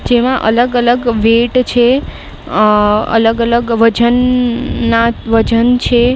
જેમાં અલગ અલગ વેટ છે. અહ અલગ અલગ વજનના વજન છે.